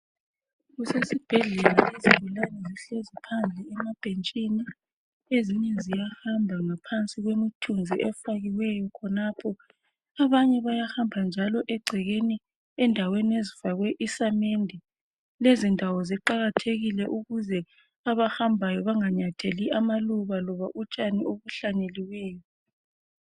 Kusesibhedlela izigulane zihleli emabhentshini, emthunzini kuthi abanye bayahamba phezulu kwendawo eyakhiwe ngesamende ukuze bengahambi phezulu kwamaluba kumbe untshani